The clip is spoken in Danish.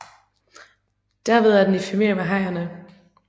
Derved er den i familie med hajerne